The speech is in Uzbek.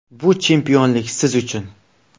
Bu chempionlik siz uchun.